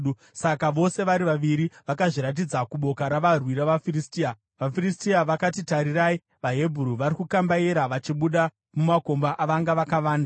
Saka vose vari vaviri vakazviratidza kuboka ravarwi ravaFiristia. VaFiristia vakati, “Tarirai! VaHebheru vari kukambaira vachibuda mumakomba avanga vakavanda.”